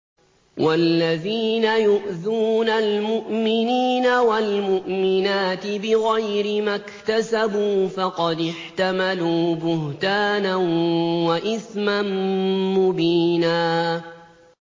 وَالَّذِينَ يُؤْذُونَ الْمُؤْمِنِينَ وَالْمُؤْمِنَاتِ بِغَيْرِ مَا اكْتَسَبُوا فَقَدِ احْتَمَلُوا بُهْتَانًا وَإِثْمًا مُّبِينًا